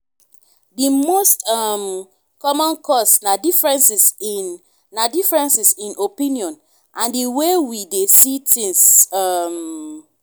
di most um common cause na differences in na differences in opinion and di way we dey see things. um